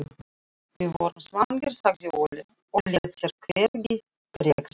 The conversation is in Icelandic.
Við vorum svangir, sagði Óli og lét sér hvergi bregða.